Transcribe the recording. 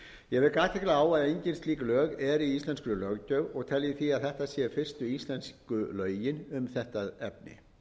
athygli á að engin slík lög eru í íslenskri löggjöf og tel ég því að þetta séu fyrstu íslensku lögin um þetta efni